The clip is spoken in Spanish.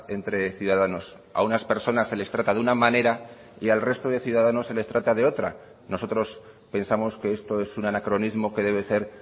entre ciudadanos a unas personas se les trata de una manera y al resto de ciudadanos se les trata de otra nosotros pensamos que esto es un anacronismo que debe ser